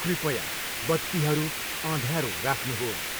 कृपया बत्तीहरू अँध्यारो राख्नुहोस्।